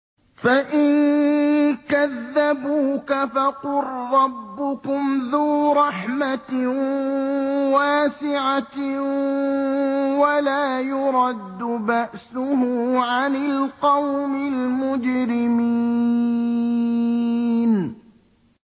فَإِن كَذَّبُوكَ فَقُل رَّبُّكُمْ ذُو رَحْمَةٍ وَاسِعَةٍ وَلَا يُرَدُّ بَأْسُهُ عَنِ الْقَوْمِ الْمُجْرِمِينَ